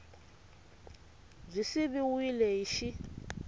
b yi siviwile hi x